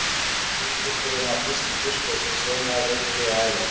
Maríufiskurinn var fyrsti fiskur sem sjómaður veiddi á ævinni.